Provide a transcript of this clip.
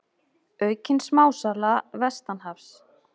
Aukin smásala vestanhafs